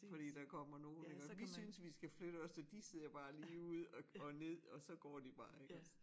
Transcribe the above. Fordi der kommer nogen iggå vi synes vi skal flytte os og de ser bare ligeud og ned og så går de bare iggås